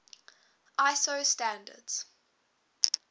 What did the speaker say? iso standards